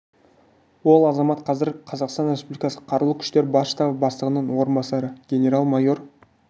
ол азамат қазір қазақстан республикасы қарулы күштері бас штабы бастығының орынбасары генерал-майор